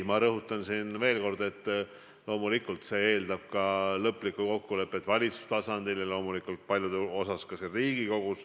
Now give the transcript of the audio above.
Ma rõhutan veel kord, et loomulikult see eeldab lõplikku kokkulepet valitsustasandil ja loomulikult paljus ka siin Riigikogus.